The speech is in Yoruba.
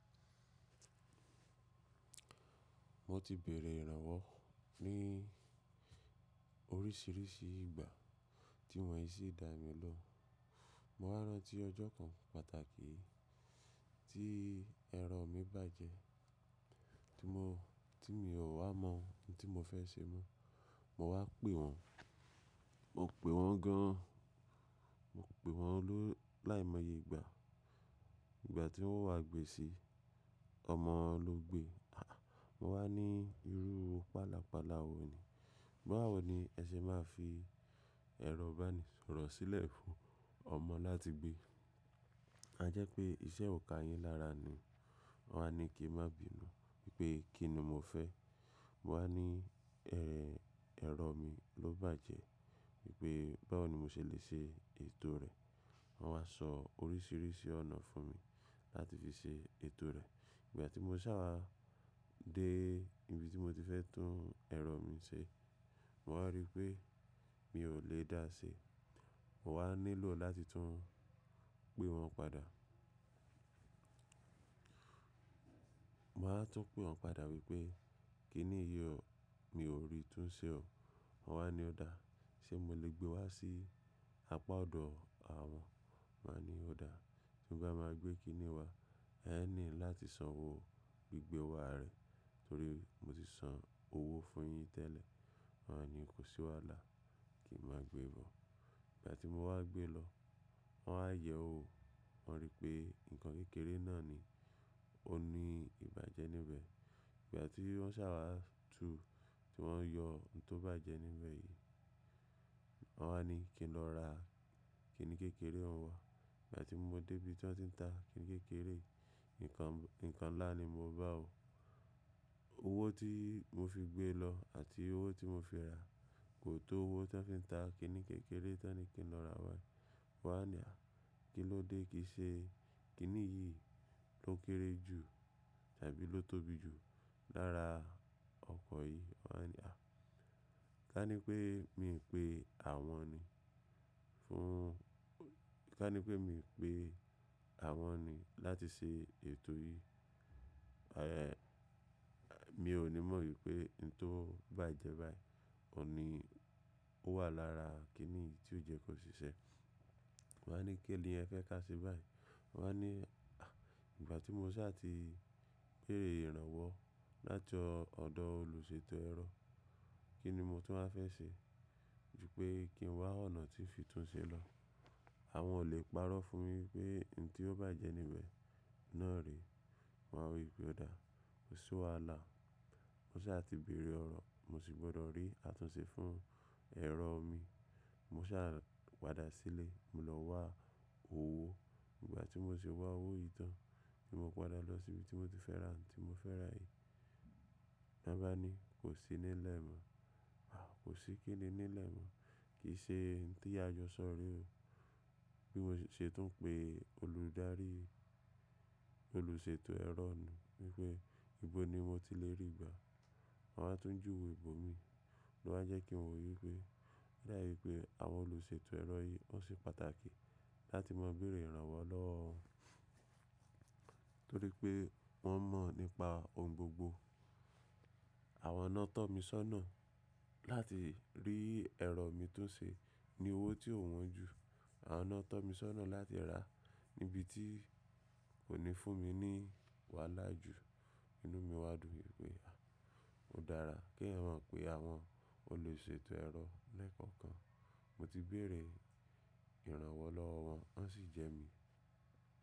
Mo ti bèrè ìrànwọ́ ní oríṣiríṣi ìgbà tí wọ́n kí i sí dá mi lọ. Mo wá rán tí ọjọ́ kan pàtàkì tí ẹ̀rọ mi bàjẹ́ tí mo, tí mi ò wá mọ ohun tí mo fẹ́ ṣe mọ́. Mo wá pè wọ́n, mo pè wọ́n gan an, mo pè wọ́n ló láìmọye ìgbà. Ìgbà tí wọ́n wá gbe sí ọmọ ló gbe. Aà! Mo wá ní irú pala pala wo ni? Báwo ni ẹ ṣe máa fi ẹ̀rọ ìbánisọ̀rọ̀ sílẹ̀ fún ọmọ láti gbé? A jẹ́ pé iṣẹ́ òǹkà yín lára ni. Wọ́n wá ní kí n má bì nù wípé kí ni mo fẹ́. Mo wá ní ẹ̀rẹ̀, ẹ̀rọ mi ló bàjẹ́ wípé báwo ni mo ṣe lè ṣe ètò rẹ̀? Wọ́n wá sọ oríṣiríṣi ọ̀nà fún mi láti fi ṣe ètò rẹ̀. Ìgbà tí mo sáwàá dé ibi tí mo ti fẹ́ tún ẹ̀rọ mi ṣe, mo wá rí pé mi ò lè dáa ṣe. Mo wá nílò láti tún pè wọ́n padà. Mo wáa ń tún pè wọ́n padà wípé kí ni yi oọ̀, mi ò rí tún ṣe ọ̀. Wọ́n wá ní ó dáa, ṣe mo lè gbé wá sí apá ọ̀dọ̀ àwọn? Mo wá ní ó dáa, mo máa gbé kí ni wá? Ẹ ní láti san owó gbígbẹ wa rẹ̀ torí mo ti san owó fún yin tẹ́lẹ̀. Wọ́n wá ní kò sí wàhálà, kí n máa gbé bọ̀. Ìgbà tí mo wá gbé lọ, wọ́n wá yẹ̀ wò. Wọ́n rí pé nǹkan kékeré náà ni ó ní ìbàjẹ́ níbẹ̀. Ìgbà tí wọ́n sáwàá tu tí wọ́n yọ ohun tó bàjẹ́ níbẹ̀ yìí, wọ́n wá ní kí n lọ ra kíni kékeré oun wá. Ìgbà tí mo dé ibi tí wọ́n ti ń ta kíni kékeré, nǹkan, nǹkan ńlá ni mo bá o. Owó tí mo fi gbé lọ àti owó tí mo fi ra kò tó owó tí wọ́n fi ń ta kíni kékeré tí wọ́n ní kí n lọ ra wá. Mo wá ní à, kí ló dé kìí ṣe kíni yìí ló kéré jù tàbí ló tóbi jù lára ọkọ̀ yìí? Wọ́n á ní à, ká ní pé mi ń pe àwọn ni fún, ká ní pé mi ń pe àwọn ni láti ṣe ètò yìí. Aè, mi ò ní mọ ìpé ohun tó bàjẹ́ báyìí, òní ó wà lára kíni yìí tí ó jẹ́ kò ṣiṣẹ́. Wọ́n wá ní kí ni ẹ fẹ́ kà se báyìí? Wọ́n wá ní à, ìgbà tí mo sá ti béèrè ìrànwọ́ láti ọ̀dọ̀ olùṣètò ẹ̀rọ, kí ni mo tú wáa fẹ́ ṣe? Ju pé kí n wá ọ̀nà tí n fìtún ṣe lọ. Àwọn ò lè parọ́ fún mi wípé ohun tí ó bàjẹ́ níbẹ̀ náà rèé. Mo wá wípé ó dáa, kò sí wàhálà. Mo sá ti bèrè ọ̀rọ̀, mo sì gbọdọ̀ rí àtúnṣe fún ẹ̀rọ mi. Mo sá pada sílé, mo lọ wá owó. Ìgbà tí mo sì wá owó yìí tán ni mo padà lọ sí ibi tí mo ti fẹ́ ra ohun tí mo fẹ́ rà yìí. Ni won bá ní kò sí nílẹ̀ mọ́. À, kò sí kíni nílẹ̀ mọ́, kì í ṣe ohun tí àjọ sọ re ò. Bí mo ṣe tún ń pè olùdarí, olùṣètò ẹ̀rọ nù wípé ibo ni mo ti lè rí gbà. Wọ́n wá tún jù we ibòmíì ló wá jẹ́ kí n mò wípé oda wií pé àwọn olùṣètò ẹ̀rọ yìí wọ́n se pàtàkì láti máa bèrè ìrànwọ́ lọ́wọ́ wọn torí pé wọ́n mọ̀ nípa ohun gbogbo. Àwọn náà tọ́ mi sọ́nà láti rí ẹ̀rọ mi tó ṣe ní owó tí ò wọ́n ju. Àwọn náà tọ́ mi sọ́nà láti rà níbi tí kò ní fún mi ní wàhálà ju. Inú mi wadu wípé à, ó dára kí eyan ma pé àwọn olùṣètò ẹ̀rọ lẹ́ẹ̀kọ̀kan, mo ti bèrè ìrànwọ́ lọ́wọ́ wọn, wọ́n sì jẹ mí.